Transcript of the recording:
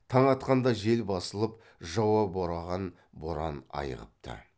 таң атқанда жел басылып жауа бораған боран айығыпты